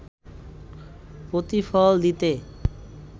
প্রতিফল দিতে